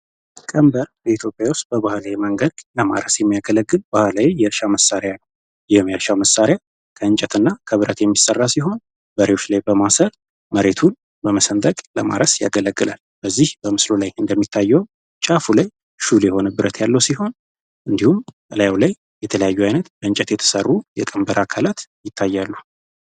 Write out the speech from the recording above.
ቀንበር በኢትዮጵያ ውስጥ በባህል የመንግስት ለማርያም የሚያገለግል ባህላዊ መሳሪያ የሚያሻው መሳሪያ ከእንጨት የሚሠራ ሲሆን በማሬቱን በመሰንጠቅ በማስ ያገለግላል በዚህ በምስሩ ላይ እንደሚታየው ላይ ያለው ሲሆን የተለያዩ አይነት የተሰሩ የቀንበር አካላት ይታያሉ።